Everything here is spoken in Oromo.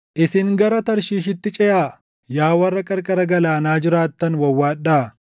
Isin gara Tarshiishitti ceʼaa; yaa warra qarqara galaanaa jiraattan wawwaadhaa.